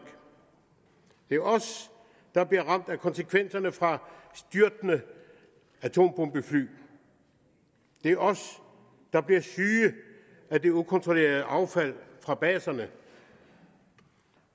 det er os der bliver ramt af konsekvenserne fra styrtende atombombefly det er os der bliver syge af det ukontrollerede affald fra baserne